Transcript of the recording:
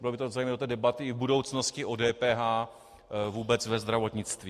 Bylo by to zajímavé do té debaty i v budoucnosti o DPH vůbec ve zdravotnictví.